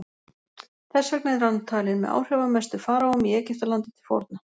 Þess vegna er hann talinn með áhrifamestu faraóum í Egyptalandi til forna.